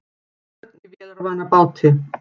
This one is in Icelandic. Börn í vélarvana báti